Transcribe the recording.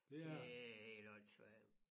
Det helt åndssvagt